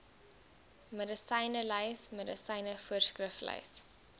medisynelys medisyne voorskriflys